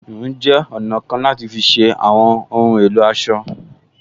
Híhun jẹ́ ọ̀nà kan láti fi ṣe àwọn ohun èlò aṣọ